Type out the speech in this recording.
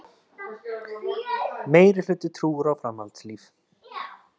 Meirihluti trúir á framhaldslíf